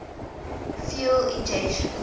fuel injection